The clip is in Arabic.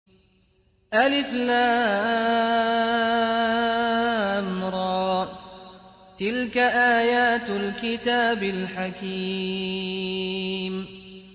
الر ۚ تِلْكَ آيَاتُ الْكِتَابِ الْحَكِيمِ